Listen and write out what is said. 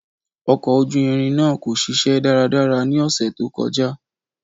Ọkọ̀ ojú irin naa ko ṣiṣẹ daradara ni ọsẹ to kọja.